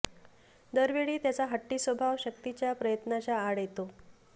दर वेळी त्याचा हट्टी स्वभाव शक्तीच्या प्रयत्नांच्या आड येतो